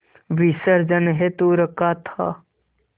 विसर्जन हेतु रखा था